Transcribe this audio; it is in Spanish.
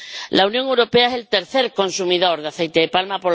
La Unión Europea es el tercer consumidor de aceite de palma